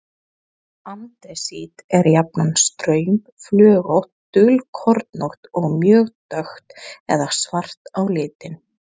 Andesít er jafnan straumflögótt, dulkornótt og mjög dökkt eða svart á litinn.